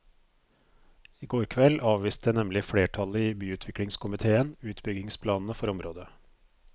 I går kveld avviste nemlig flertallet i byutviklingskomitéen utbyggingsplanene for området.